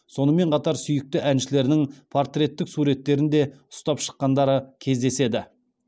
сонымен қатар сүйікті әншілерінің портреттік суреттерін де ұстап шыққандары кездеседі